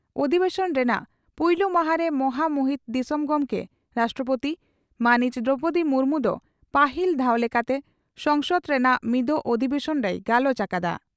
ᱚᱫᱷᱵᱮᱥᱚᱱ ᱨᱮᱱᱟᱜ ᱯᱩᱭᱞᱩ ᱢᱟᱦᱟᱸᱨᱮ ᱢᱚᱦᱟᱢᱩᱦᱤᱱ ᱫᱤᱥᱚᱢ ᱜᱚᱢᱠᱮ (ᱨᱟᱥᱴᱨᱚᱯᱳᱛᱤ) ᱢᱟᱹᱱᱤᱡ ᱫᱨᱚᱣᱯᱚᱫᱤ ᱢᱩᱨᱢᱩ ᱫᱚ ᱯᱟᱹᱦᱤᱞ ᱫᱷᱟᱣ ᱞᱮᱠᱟᱛᱮ ᱥᱚᱝᱥᱚᱫ ᱨᱮᱱᱟᱜ ᱢᱤᱫᱚᱜ ᱚᱫᱷᱤᱵᱮᱥᱚᱱ ᱨᱮᱭ ᱜᱟᱞᱚᱪ ᱟᱠᱟᱫᱟ ᱾